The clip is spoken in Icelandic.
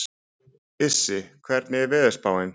Issi, hvernig er veðurspáin?